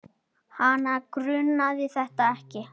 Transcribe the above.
Hana grunaði þetta ekki.